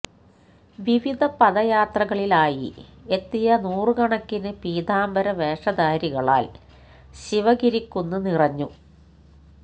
വിവിധ പദയാത്രകളിലായി എത്തിയ നൂറുകണക്കിന് പീതാംബര വേഷധാരികളാല് ശിവഗിരിക്കുന്ന് നിറഞ്ഞു